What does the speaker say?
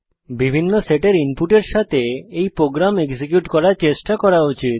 বিভিন্ন সেটের ইনপুটের সাথে এই প্রোগ্রাম এক্সিকিউট করার চেষ্টা করা উচিত